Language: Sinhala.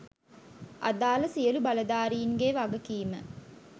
අදාළ සියලු බලධාරීන්ගේ වගකීම